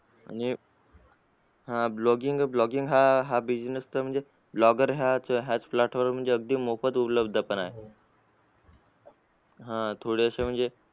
म्हणजे blogging bloging business तर म्हणजे blogger हाच हाच platform वरती अगदी मोफत उपलब्ध पण आहे. हा थोडेसे म्हणजे